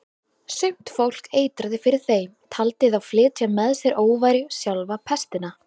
Sumt fólk eitraði fyrir þeim, taldi þá flytja með sér óværu, sjálfa pestina.